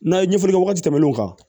N'a ye ɲɛfɔli kɛ wagati tɛmɛn'o kan